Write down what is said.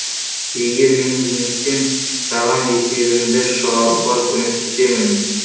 егер мен жеңілсем саған есебіңді шығаруға көмектесемін